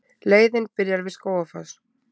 Leiðin byrjar við Skógafoss.